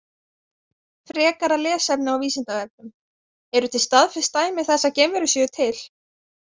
Frekara lesefni á Vísindavefnum: Eru til staðfest dæmi þess að geimverur séu til?